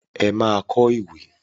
Ẹ máa kọ́ òwe.